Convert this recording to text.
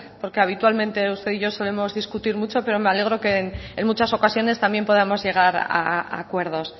porque habitualmente usted y yo solemos discutir mucho pero me alegro que en muchas ocasiones también podamos llegar a acuerdos